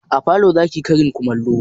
A falo zaki yi karin kumallo?